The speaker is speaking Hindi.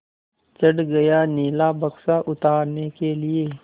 चढ़ गया नीला बक्सा उतारने के लिए